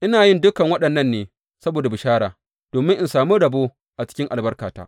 Ina yin dukan waɗannan ne saboda bishara, domin in sami rabo a cikin albarkarta.